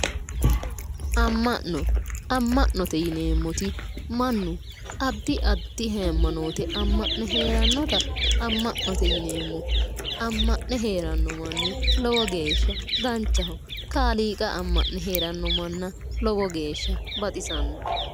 Amma'no amma'note yineemmoti mannu addi addi hayimanoote amma'ne heerannota amma'note yineemmo amma'ne heeranno manni lowo geesha danchaho kaaliiqa amma'ne heeranno manna lowo geesha baxisanno'e